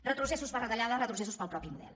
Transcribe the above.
retrocessos per retallades retrocessos pel mateix model